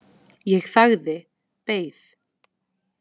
Ég þagði, beið.